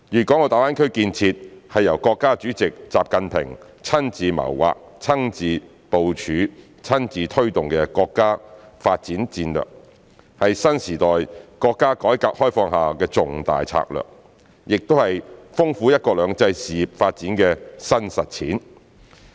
大灣區建設是由國家主席習近平親自謀劃、親自部署、親自推動的國家發展戰略，是新時代國家改革開放下的重大策略，也是豐富"一國兩制"事業發展的新實踐。